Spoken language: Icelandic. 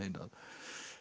að